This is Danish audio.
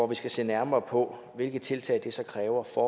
vi skal se nærmere på hvilke tiltag det kræver for